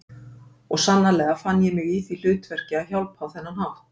Og sannarlega fann ég mig í því hlutverki að hjálpa á þennan hátt.